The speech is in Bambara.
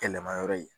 Kɛlɛma yɔrɔ ye